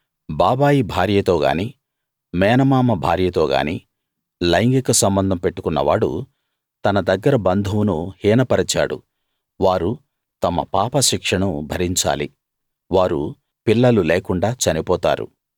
బాబాయి భార్యతో గానీ మేనమామ భార్యతో గానీ లైంగిక సంబంధం పెట్టుకున్నవాడు తన దగ్గర బంధువును హీనపరిచాడు వారు తమ పాపశిక్షను భరించాలి వారు పిల్లలు లేకుండా చనిపోతారు